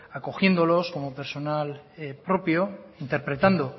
acogiéndolos como personal propio interpretando